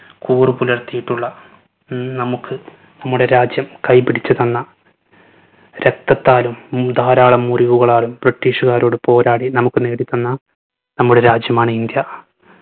കൂറ് പുലർത്തിയിട്ടുള്ള ഉം നമ്മുക്ക് നമ്മുടെ രാജ്യം കൈ പിടിച്ചു തന്ന രക്തത്താലും മു ധാരാളം മുറിവുകളാലും british കാരോട് പോരാടി നമ്മുക്ക് നേടിത്തന്ന നമ്മുടെ രാജ്യമാണ് ഇന്ത്യ.